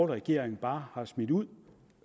regering bare har smidt ud